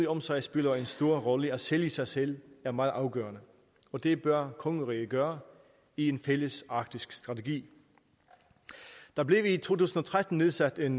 om sig spiller en stor rolle at sælge sig selv er meget afgørende og det bør kongeriget gøre i en fælles arktisk strategi der blev i to tusind og tretten nedsat en